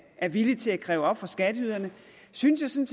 er villig til at kræve op hos skatteyderne synes jeg